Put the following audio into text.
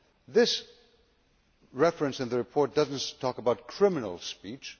This reference in the report does not talk about criminal' speech.